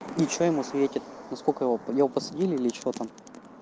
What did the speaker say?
и что ему светит на сколько его его посадили или что там